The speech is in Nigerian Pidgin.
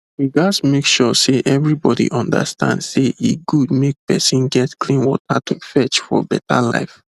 we gats make sure say everybody understand say e good make person get clean water to fetch for better life